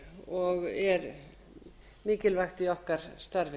og er mikilvægt í okkar starfi